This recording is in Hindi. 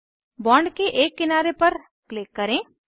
बॉन्ड के एक किनारे पर क्लिक करें